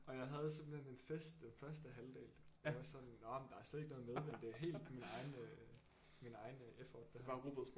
Og jeg havde simpelthen en fest den første halvdel jeg var sådan nåh men der er slet ikke noget medvind det er helt min egen øh min egen effort det her